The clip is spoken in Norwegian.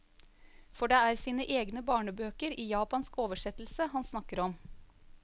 For det er sine egne barnebøker i japansk oversettelse han snakker om.